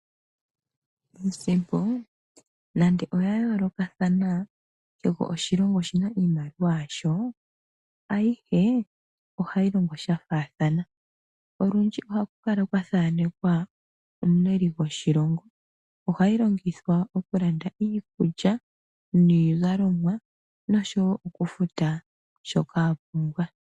Iisimpo nande oya yoolokathana, kehe oshilongo shi na iimaliwa yasho, ayihe ohayi longo sha faathana. Olundji ohaku kala kwa thanekwa omuleli goshilongo. Ohayi longithwa okulanda iikulya, iizalomwa noshowo okufuta shoka wa pumbwa.